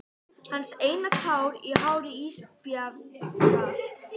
Hans eina tár í hári Ísbjargar.